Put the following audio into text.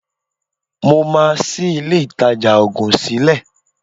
Mo máa ṣí ilé-ìtajà òògùn sílẹ̀